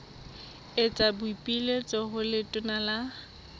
etsa boipiletso ho letona la